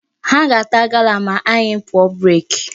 Ha ga-ata gala ma anyị pụọ break.